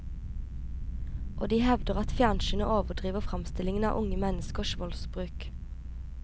Og de hevder at fjernsynet overdriver fremstillingen av unge menneskers voldsbruk.